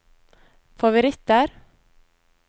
favoritter